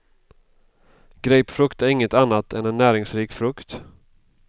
Grapefrukt är inget annat än en näringsrik frukt.